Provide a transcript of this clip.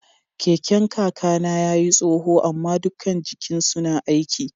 Keken kaka na ya yi tsoho ama dukan jikin suna aiki.